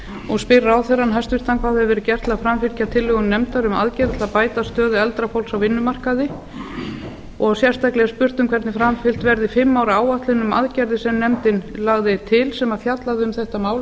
og spyr ráðherrann hæstvirtur fyrstu hvað hefur verið gert til að framfylgja tillögum nefndar um aðgerðir til að að bæta stöðu eldra fólks á vinnumarkaði samanber skýrslu sem nefndin gaf ráðherra